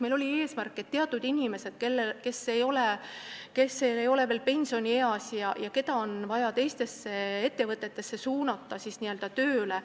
Meil oli eesmärk, et inimesed, kes ei ole veel pensionieas, saaksid suunatud teistesse ettevõtetesse tööle.